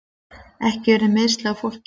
Ekki urðu meiðsl á fólki